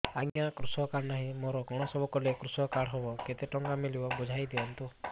ଆଜ୍ଞା କୃଷକ କାର୍ଡ ନାହିଁ ମୋର କଣ ସବୁ କଲେ କୃଷକ କାର୍ଡ ହବ କେତେ ଟଙ୍କା ମିଳିବ ସବୁ ବୁଝାଇଦିଅନ୍ତୁ